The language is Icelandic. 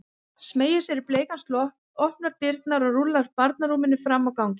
Smeygir sér í bleikan slopp, opnar dyrnar og rúllar barnarúminu fram á ganginn.